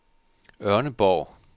Ørneborg